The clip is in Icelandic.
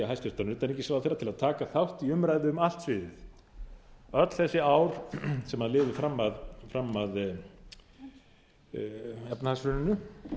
hæstvirtan utanríkisráðherra til að taka þátt í umræðu um allt sviðið öll þessi ár sem liðu fram að efnahagshruninu